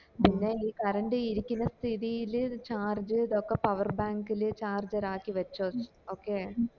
പിന്നെ ഈ കറണ്ട് ഇരിക്കന്ന സ്ഥിതില് charge ഇതൊക്കെ power bank ല് charger ആക്കി വച്ചോ okay